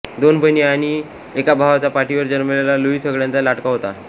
दोन बहिणी आणि एका भावाच्या पाठीवर जन्मलेला लुई सगळ्यांचा लाडका होता